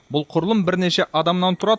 бұл құрылым бірнеше адамнан тұрады